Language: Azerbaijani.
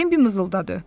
Bambi mızıldadı.